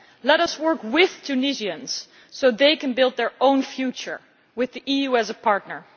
Let us work with Tunisians so they can build their own future with the EU as a partner.